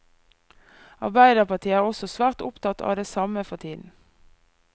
Arbeiderpartiet er også svært opptatt av det samme for tiden.